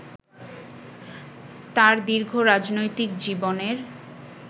তাঁর দীর্ঘ রাজনৈতিক জীবনের